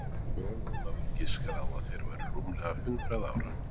Jón Ólafur giskaði á að þeir væru rúmlega hundrað ára